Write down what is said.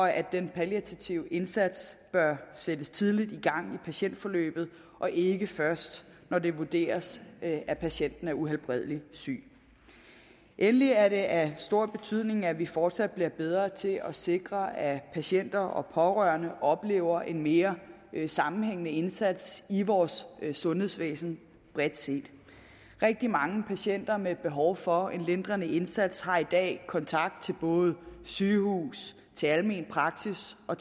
at den palliative indsats bør sættes tidligt i gang i patientforløbet og ikke først når det vurderes at patienten er uhelbredelig syg endelig er det af stor betydning at vi fortsat bliver bedre til at sikre at patienter og pårørende oplever en mere sammenhængende indsats i vores sundhedsvæsen bredt set rigtig mange patienter med behov for en lindrende indsats har i dag kontakt til både sygehus almen praksis og